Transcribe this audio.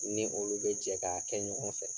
Ni olu be jɛ k'a kɛ ɲɔgɔn fɛ.